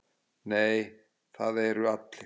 Nei, það eru allir.